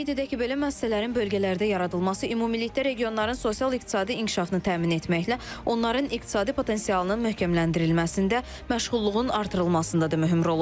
Qeyd edək ki, belə müəssisələrin bölgələrdə yaradılması ümumilikdə regionların sosial-iqtisadi inkişafını təmin etməklə, onların iqtisadi potensialının möhkəmləndirilməsində, məşğulluğun artırılmasında da mühüm rol oynayır.